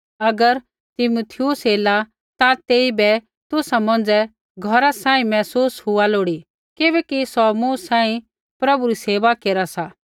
अगर तीमुथियुस ऐला ता तेइबै तुसा मौंझ़ै घौरा सांही महसूस लोड़ी हुआ किबैकि सौ मूँ सांही प्रभु री सेवा केरा सा